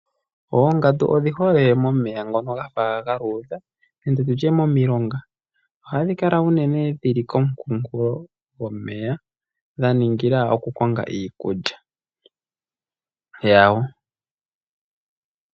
Oongandu odhi hole momeya ngono gafa ga luudha momilonga. Ohadhi kala unene dhili komu kunkulo gomeya dha ningila oku konga iikulya yadho.